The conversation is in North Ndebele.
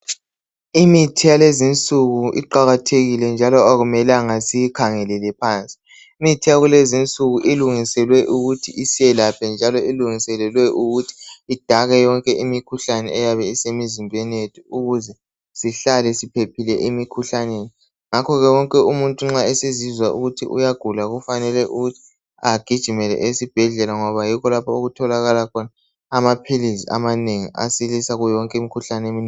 Imithi yakulezinsuku iqakathekile njalo akumelanga siyikhangelele phansi. Imithi yakulezinsuku ilungiselwe ukuthi isiyelaphe njalo ilungiselelwe ukuthi idake yonke imikhuhlane eyabe isemizimbeni yethu ukuze sihlale siphephile emikhuhlaneni. Ngakho ke wonke umuntu nxa esezizwa ukuthi uyagula kufanele ukuthi agijimele esibhedlela ngoba yikho okutholakala khona amaphilizi amanengi asilisa kiyo yonke imikhuhlane.